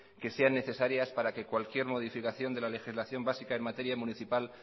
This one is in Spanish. que sean necesarias para que cualquier modificación de la legislación básica en materia municipal